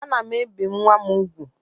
Ana m ebi nwa m úgwù